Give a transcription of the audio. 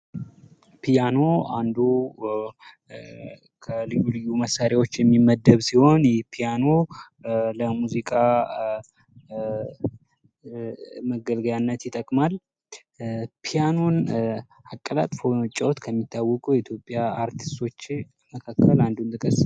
ፒያኑ አንዱ ከልዩ ልዩ መሳሪያዎች የሚመደብ ሲሆን የፒያኖ ለሙዚቃ መገልገያነት ይጠቅማል። ፒያኖን አቀላጥፎ በመጫዎት የሚታወቁት የኢትዮጵያ አርቲስቶች መካከል አንዱን ጥቀስ?